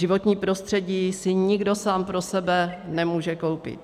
Životní prostředí si nikdo sám pro sebe nemůže koupit.